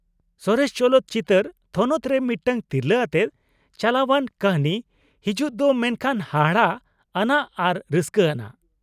ᱥᱚᱨᱮᱥ ᱪᱚᱞᱚᱛ ᱪᱤᱛᱟ.ᱨ ᱛᱷᱚᱱᱚᱛ ᱨᱮ ᱢᱤᱫᱴᱟᱝ ᱛᱤᱨᱞᱟ. ᱟᱛᱮ ᱪᱟᱞᱟᱣᱟᱱ ᱠᱟ.ᱦᱱᱤ ᱦᱤᱡᱩᱜ ᱫᱚ ᱢᱮᱱᱠᱷᱟᱱ ᱦᱟᱦᱟᱲᱟᱜ ᱟᱱᱟᱜ ᱟᱨ ᱨᱟ.ᱥᱠᱟ. ᱟᱱᱟᱜ ᱾